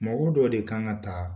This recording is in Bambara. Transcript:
Mɔgɔ dɔ de kan ka taa